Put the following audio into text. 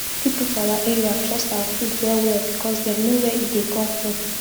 pipu for our area trust our food well well becos dem know were e dey come from